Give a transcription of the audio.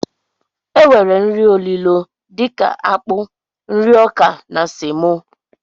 E nwere nri olilo dika akpụ, nri ọkà na semo.